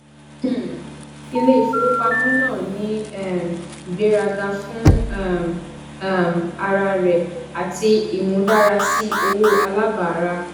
um ilé ìfowópamọ náà ní um ìgbéraga fún um um ara rẹ àti imúdárasí owó alábàárà